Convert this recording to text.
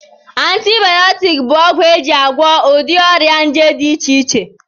Antibayọtiki bụ ọgwụ eji agwọ ụdị ọrịa nje dị iche iche